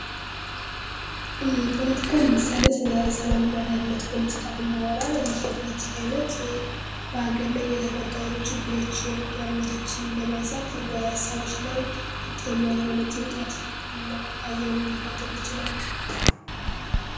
ፖለቲካ ለምሳሌ ስለ ሰላምና ደህንነት ፖለቲካ ብናወራ ይህ የፖለቲካ ዓይነት በአገር ላይ የተፈጠሩ ችግሮችን ፣ጦርነታችን በማሳንሳት በሰዎች ላይ ከፍተኛ የሆነ ጭንቀት እና ሀዘን ሊፈጥር ይችላል።